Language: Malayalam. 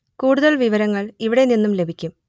കൂടുതൽ വിവരങ്ങൾ ഇവിടെ നിന്നും ലഭിക്കും